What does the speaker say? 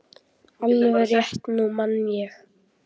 Alveg rétt, nú man ég.